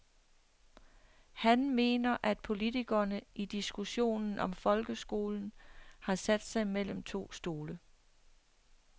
Han mener, at politikerne i diskussionen om folkeskolen har sat sig mellem to stole.